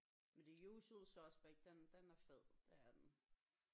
Men The Usual Suspect den den er fed det er den